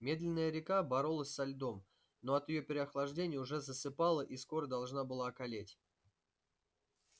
медленная река боролась со льдом но от переохлаждения уже засыпала и скоро должна была околеть